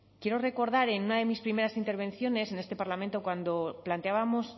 quiero recordar en una de mis primeras intervenciones en este parlamento cuando planteábamos